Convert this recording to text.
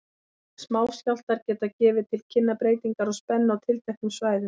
Smáskjálftar geta gefið til kynna breytingar á spennu á tilteknum svæðum.